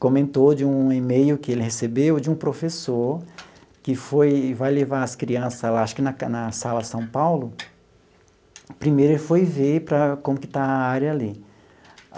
comentou de um e-mail que ele recebeu de um professor que foi, vai levar as crianças lá, acho que na na sala São Paulo, primeiro ele foi ver para como que está a área ali.